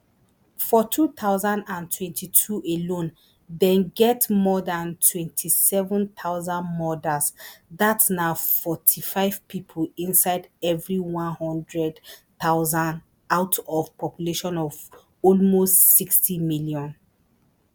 for two thousand and twenty-two alone dem get more dan twenty-seven thousand murders dat na forty-five pipo inside evri one hundred thousand out of population of almost sixty million